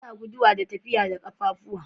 Ana guduwa da tafiya da kaffafuwa.